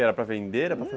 Era para vender?